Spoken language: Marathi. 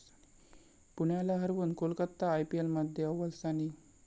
पुण्याला हरवून कोलकाता आयपीएलमध्ये अव्वल स्थानी